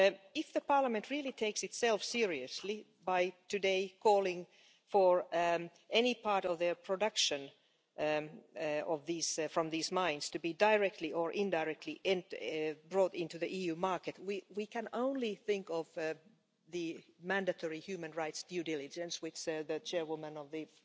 If the Parliament really takes itself seriously by today calling for any part of their production from these mines to be directly or indirectly brought into the EU market, we can only think of the mandatory human rights due diligence, which that the Chairwoman of the